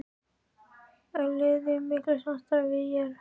Er liðið í miklu samstarfi við ÍR?